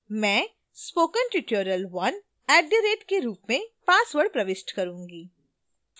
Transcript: मैं spokentutorial1 @के रूप में password प्रविष्ट करूंगी